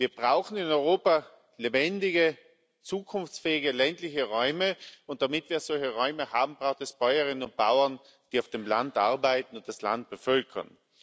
Wir brauchen in Europa lebendige, zukunftsfähige ländliche Räume, und damit wir solche Räume haben, braucht es Bäuerinnen und Bauern, die auf dem Land arbeiten und das Land bevölkern.